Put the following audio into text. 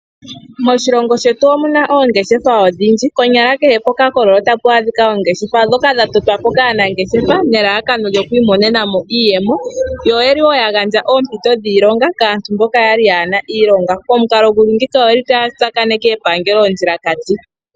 Moshilongo shetu omu na oongeshefa odhindji, konyala kehe pokakololo otapu adhika ongeshefa, ndhoka dha totwa po kaanangeshefa nelalakano lyoku imonena mo iiyemo. Oya gandja wo oompito dhiilonga kaantu mboka ya li yaa na iilonga, pamukalo gu li ngiika otaya tsakaneke epangelo ondjilakati.